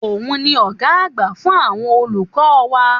Òun ni ọ̀gá àgbà fún àwọn olùkọ́ wa.